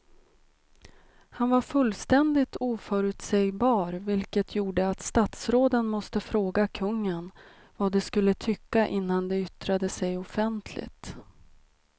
Han var fullständigt oförutsägbar vilket gjorde att statsråden måste fråga kungen vad de skulle tycka innan de yttrade sig offentligt.